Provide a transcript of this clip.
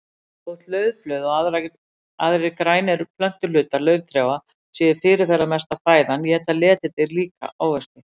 Þótt laufblöð og aðrir grænir plöntuhlutar lauftrjáa séu fyrirferðamesta fæðan éta letidýr líka ávexti.